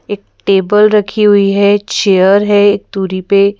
एक टेबल रखी हुई है चेयर है एक दूरी पे --